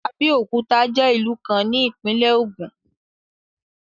Abeokuta je ilu kan ni Ipinle Ogun